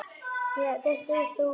Já, þetta er Þórey.